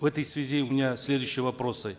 в этой связи у меня следующие вопросы